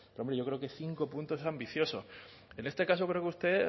pero hombre yo creo que cinco puntos es ambicioso en este caso creo que usted